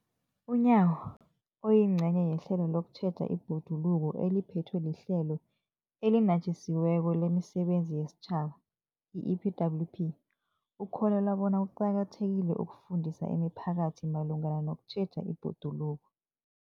UNyawo, oyingcenye yehlelo lokutjheja ibhoduluko eliphethwe liHlelo eliNatjisi weko lemiSebenzi yesiTjhaba, i-EPWP, ukholelwa bona kuqakathekile ukufundisa imiphakathi malungana nokutjheja ibhoduluko.